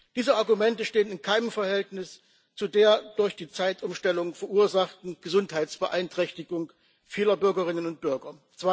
Diese Argumente stehen in keinem Verhältnis zu der durch die Zeitumstellung verursachten Gesundheitsbeeinträchtigung vieler Bürgerinnen und Bürger.